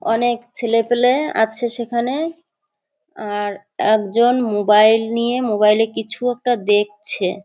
অনেক ছেলেপেলে আছে সেখানে আর একজন মোবাইল নিয়ে মোবাইল -এ কিছু একটা দেখছে।